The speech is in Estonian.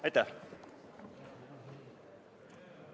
Aitäh!